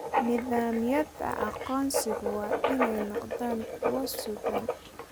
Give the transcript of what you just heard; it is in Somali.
Nidaamyada aqoonsigu waa inay noqdaan kuwo sugan.